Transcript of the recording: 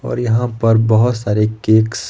और यहां पर बहुत सारे केक्स --